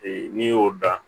Ee n'i y'o dan